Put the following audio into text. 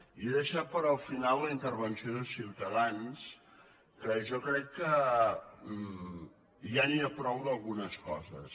i he deixat per al final la intervenció de ciutadans que jo crec que ja n’hi ha prou d’algunes coses